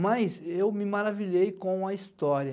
Mas eu me maravilhei com a história.